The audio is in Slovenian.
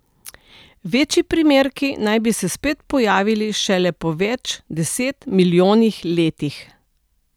Večji primerki naj bi se spet pojavili šele po več deset milijonih letih.